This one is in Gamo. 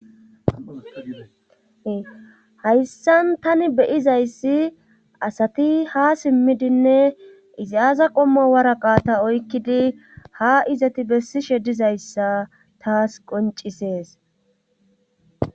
hayssan tani beyizayssi asati ha simmidinne izi aaza qomma waraqa ta oykkidi ha izati bessishe dizayssa taas qoncisees